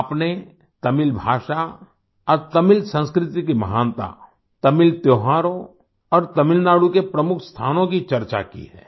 आपने तमिल भाषा और तमिल संस्कृति की महानता तमिल त्योहारों और तमिलनाडु के प्रमुख स्थानों की चर्चा की है